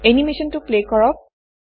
এনিমেচনটো play কৰক